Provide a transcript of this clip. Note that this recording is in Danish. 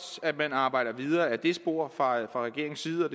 at man arbejder videre ad det spor fra regeringens side og